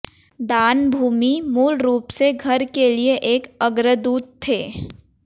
दान भूमि मूल रूप से घर के लिए एक अग्रदूत थे